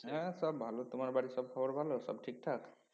হ্যাঁ সব ভালো তোমার বাড়ির সব খবর ভালো সব ঠিকঠাক